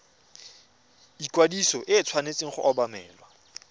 ikwadiso e tshwanetse go obamelwa